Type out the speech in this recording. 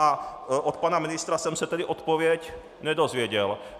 A od pana ministra jsem se tedy odpověď nedozvěděl.